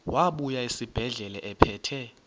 wabuya esibedlela ephethe